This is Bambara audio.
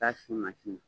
K'a sin mansin na